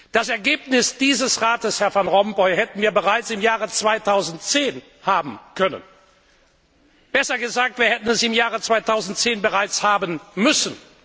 Das Ergebnis dieses Rates, Herr Van Rompuy, hätten wir bereits im Jahr 2010 haben können, besser gesagt, wir hätten es im Jahre 2010 bereits haben müssen.